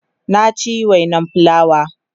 na ci wainan fulawa